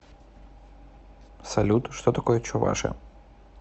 салют что такое чуваши